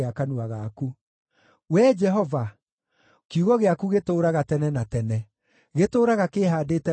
Wee Jehova, kiugo gĩaku gĩtũũraga tene na tene; gĩtũũraga kĩĩhaandĩte wega kũu igũrũ.